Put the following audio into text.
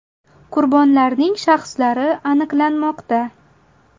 Qurbonlarning shaxslari aniqlanmoqda.